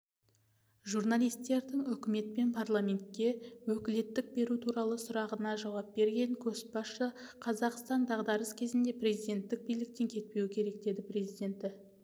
журналистердің үкімет пен парламентке өкілеттік беру туралы сұрағына жауап берген көшбасшы қазақстан дағдарыс кезінде президенттік биліктен кетпеуі керек деді президенті